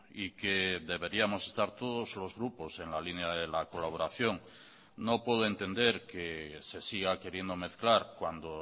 y que deberíamos estar todos los grupos en la línea de la colaboración no puedo entender que se siga queriendo mezclar cuando